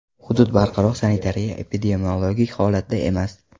Hudud barqaror sanitariya-epidemiologik holatda emas.